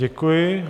Děkuji.